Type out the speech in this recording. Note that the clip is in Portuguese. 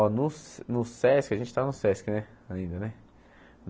Ó, no Sesc, a gente está no Sesc ainda, né?